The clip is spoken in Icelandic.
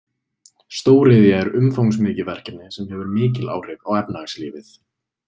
Stóriðja er umfangsmikið verkefni sem hefur mikil áhrif á efnahagslífið.